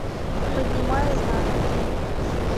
поднимая знамя клип